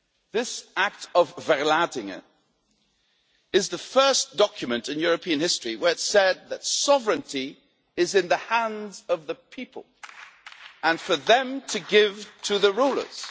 This Act of Verlatinghe' is the first document in European history where it said that sovereignty is in the hands of the people, and for them to give to the rulers.